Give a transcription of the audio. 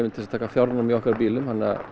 til þess að taka fjárnám í okkar bílum